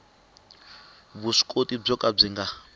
vuswikoti byo ka byi nga